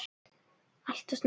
Allt of snemma.